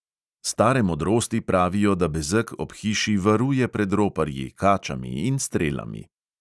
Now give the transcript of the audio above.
Stare modrosti pravijo, da bezeg ob hiši varuje pred roparji, kačami in strelami.